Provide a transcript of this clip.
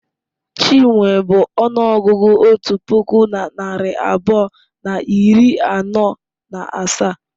Chinwe bụ ọnụọgụgụ otu puku na narị abụọ na iri anọ na asaa.